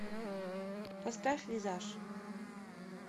поставь визаж